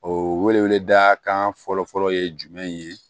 O wele weleda kan fɔlɔ fɔlɔ ye jumɛn ye